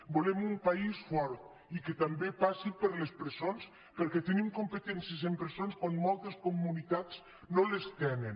volem un país fort i que també passi per les presons perquè tenim compe·tències en presons quan moltes comunitats no les te·nen